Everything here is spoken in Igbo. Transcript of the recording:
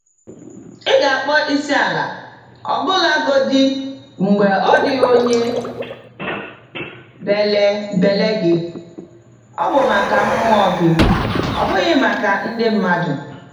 Ị ga-akpọ isiala ọbụlagodi mgbe ọdịghị onye bélè bélè gị - ọ bụ maka mmụọ gị, ọ bụghị maka ndị mmadụ.